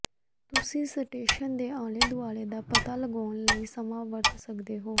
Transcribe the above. ਤੁਸੀਂ ਸਟੇਸ਼ਨ ਦੇ ਆਲੇ ਦੁਆਲੇ ਦਾ ਪਤਾ ਲਗਾਉਣ ਲਈ ਸਮਾਂ ਵਰਤ ਸਕਦੇ ਹੋ